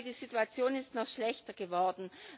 Im Gegenteil Die Situation ist noch schlechter geworden.